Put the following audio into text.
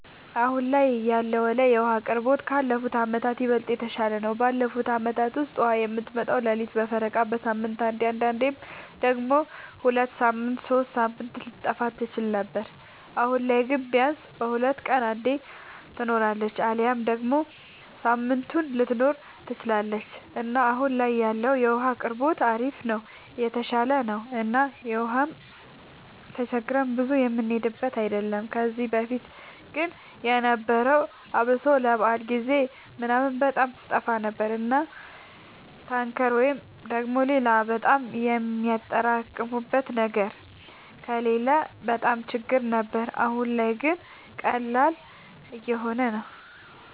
አሁን ላይ ያለወለ የዉሀ አቅርቦታችን ካለፉት አመታት ይበልጥ የተሻለ ነው። ባለፉት አመታት ውስጥ ውሃ የምትመጣው ሌሊት በፈረቃ፣ በሳምንት አንዴ አንዳንዴም ደግሞ ሁለት ሳምንት ሶስት ሳምንት ልትጠፋ ትችል ነበር። አሁን ላይ ግን ቢያንስ በሁለት ቀን አንዴ ትኖራለች አሊያም ደግሞ ሳምንቱንም ልትኖር ትችላለች እና አሁን ላይ ያለው የውሃ አቅርቦታችን አሪፍ ነው የተሻሻለ ነው እና ውሃም ተቸግረን ብዙ የምንሄድበት አይደለም። ከዚህ በፊት ግን የነበረው አብሶ ለበዓል ጊዜ ምናምን በጣም ትጠፋ ነበር እና ታንከር ወይ ደግሞ ሌላ በጣም የሚያጠራቅሙበት ነገር ከሌለ በጣም ችግር ነበር። አሁን ላይ ግን ቀላል እየሆነ ነው።